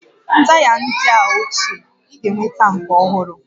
Taya ndị a ochie, ị ga-enweta nke ọhụrụ